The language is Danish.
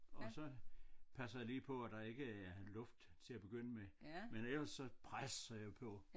Og så passer jeg lige på at der ikke er luft til at begynde med men ellers så presser jeg på